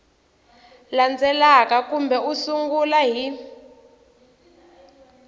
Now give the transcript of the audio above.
landzelaka kambe u sungula hi